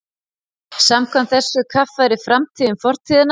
Samkvæmt þessu kaffærir framtíðin fortíðina.